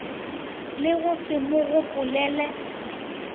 le go se mo gopolele